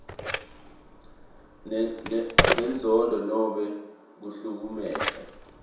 lenenzondo nobe kuhlukumeta